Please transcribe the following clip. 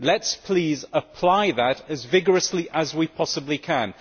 Let us please apply that as vigorously as we possibly can.